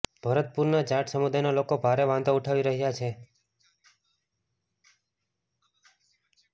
ભરતપુરના જાટ સમુદાયના લોકો ભારે વાંધો ઉઠાવી રહ્યા છે